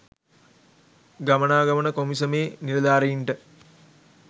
ගමනාගමන කොමිසමේ නිලධාරීන්ට